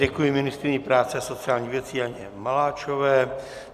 Děkuji ministryni práce a sociálních věcí Janě Maláčové.